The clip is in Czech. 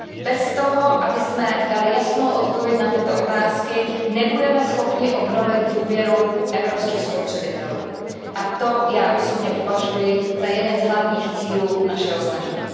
Bez toho, abychom dali jasnou odpověď na tyto otázky, nebudeme schopni obnovit důvěru evropských spotřebitelů, a to já osobně považuji za jeden z hlavních cílů našeho snažení.